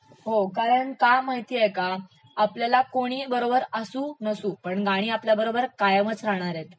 हो कारण का माहितेय का, आपल्याला कोणी बरोबर असू नसू, गाणी आपल्यासोबत कायमच राहणारेत